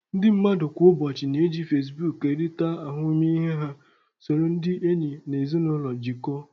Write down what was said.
Ndị mmadụ kwa ụbọchị na-eji Facebook kerịta ahụmịhe ha, soro ndị enyi na ezinụlọ jikọọ